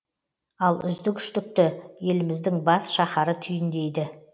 ал үздік үштікті еліміздің бас шаһары түйіндейді